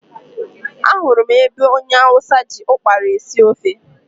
Ahụrụ m ebe onye hausa ji ụkpara esi ofe.